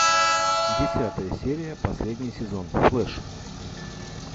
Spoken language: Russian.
десятая серия последний сезон флеш